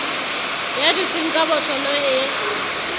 ya dutseng ka botlolo e